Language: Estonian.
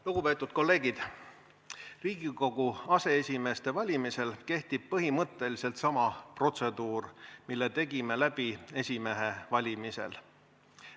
Lugupeetud kolleegid, Riigikogu aseesimeeste valimisel kehtib põhimõtteliselt sama protseduur, mille tegime läbi esimehe valimisel.